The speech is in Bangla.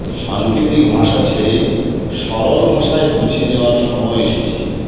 সাঙ্কেতিক ভাষা ছেড়ে সরল ভাষায় বুঝে নেওয়ার সময় এসেছে